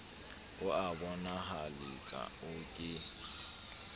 o a bonahaletsa o ke